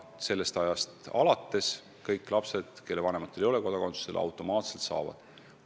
Sellest ajast alates kõik lapsed, kelle vanematel ei ole kodakondsust, saavad automaatselt Eesti kodakondsuse.